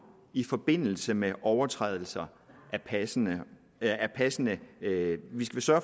i forbindelse med overtrædelserne er passende er passende